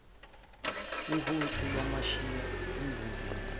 uhuntshu lwamshiya emavenini